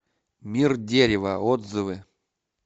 мир дерева отзывы